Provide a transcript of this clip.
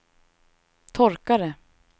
torkare